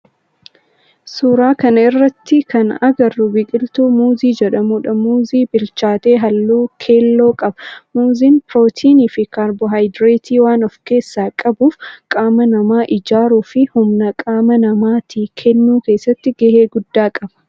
Suuraa kana irratti kana agarru biqiltuu muuzii jedhamudha. Muuzii bilchaate halluu keelloo qaba. Muuziin pirootinii fi kaarboohayidireetii waan of keessaa qabuuf qaama nama ijaaruu fi humna qaama namaatii kennuu keessatti gahee guddaa qaba.